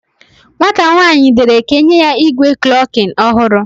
Nwata nwanyi dere ka enye ya igwe klokin ohuru